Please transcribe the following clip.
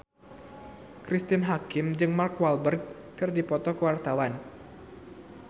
Cristine Hakim jeung Mark Walberg keur dipoto ku wartawan